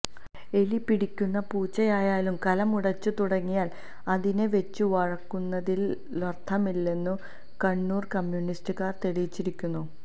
എലി പിടിക്കുന്ന പൂച്ചയായാലും കലം ഉടച്ചു തുടങ്ങിയാല് അതിനെ വെച്ചു വാഴിക്കുന്നതിലര്ഥമില്ലെന്നു കണ്ണൂര് കമ്മ്യൂണിസ്റ്റുകാര് തെളിയിച്ചിരിക്കുന്നു